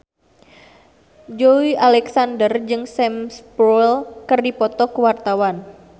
Joey Alexander jeung Sam Spruell keur dipoto ku wartawan